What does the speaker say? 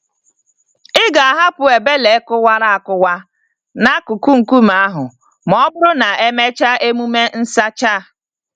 Ị ga-ahapụ ebele kụwara akụwa n'akụkụ nkume ahụ m'ọbụrụ na emechaa emume nsacha.